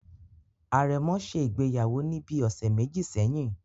Àrẹ̀mọ ṣe ìgbéyàwó ní bíi ọ̀sẹ̀ méjì sẹ́yìn